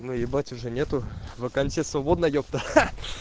но ебать уже нету вакансия свободна епта ха